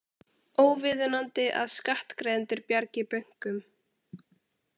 Óviðunandi að skattgreiðendur bjargi bönkum